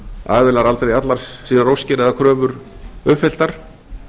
aðilar aldrei allar sínar óskir eða kröfur uppfylltar